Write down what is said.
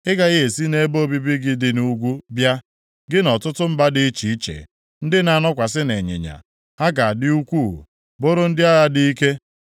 Ị ga-esi nʼebe obibi gị dị nʼugwu bịa, gị na ọtụtụ mba dị iche iche, ndị na-anọkwasị nʼịnyịnya. Ha ga-adị ukwuu, bụrụ ndị agha dị ike.